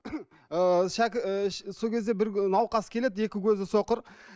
ы сол кезде бір науқас келеді екі көзі соқыр